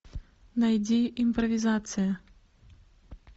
найди импровизация